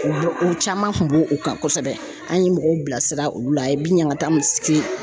O bɛ u caman kun b'o kan kosɛbɛ an ye mɔgɔw bilasira olu la a ye bi ɲanga min se .